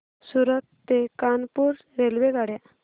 सूरत ते कानपुर रेल्वेगाड्या